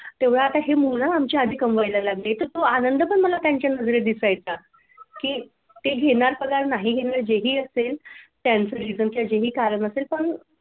तेवढा आता ही मूल आमची आता कमवायला लागली तर तो आनंद पण मला त्यांच्या नजरेत दिसायचा. की ते घेणार पगार नाही घेणार नाही जे ही असेल त्यांचं reason किंवा जे ही कारण असेल पण